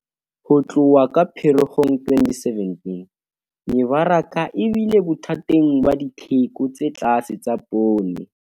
Ho tloha ka Pherekgong 2017, mebaraka e bile bothateng ba ditheko tse tlase tsa poone.